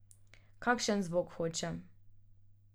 Kakšen zvok hočem.